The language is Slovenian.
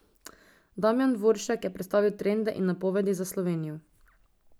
Damjan Dvoršek je predstavil trende in napovedi za Slovenijo.